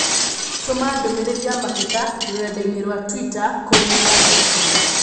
Tũma ndũmīrīri ya mateta rũrenda-inī rũa tũita kũrĩ Burger King